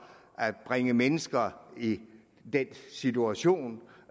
at bringe mennesker i den situation